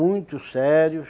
Muito sérios.